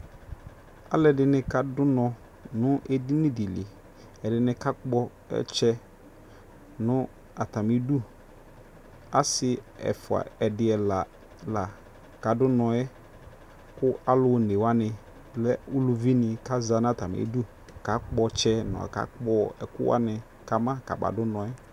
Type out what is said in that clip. aluɛdɩnɩ kadʊ unɔ nʊ edini dɩ li, ɛdɩnɩ kakpɔ ɔtsɛ nʊ atamidu, asi ɛdi, ɛfua, ɛla, lă kadu unɔ yɛ, mɛ alʊ onewanɩ lɛ aluvinɩ atani za nʊ udu kakpɔ ɔtsɛ, kakpɔ ɛkʊwanɩ kama kamadʊ unɔ yɛ